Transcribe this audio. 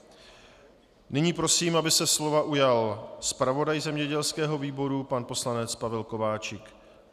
Nyní prosím, aby se slova ujal zpravodaj zemědělského výboru pan poslanec Pavel Kováčik.